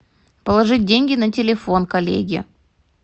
положить деньги на телефон коллеге